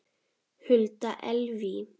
Hulda Elvý.